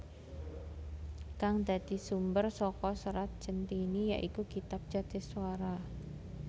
Kang dadi sumber saka Serat Centhini ya iku kitab Jatiswara